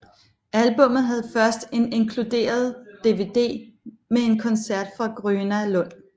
Albummet havde først en inkludered DVD med en koncert fra Gröna Lund